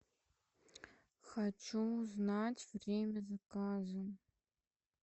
хочу узнать время заказа